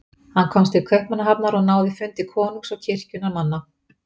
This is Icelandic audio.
Hann komst til Kaupmannahafnar og náði fundi konungs og kirkjunnar manna.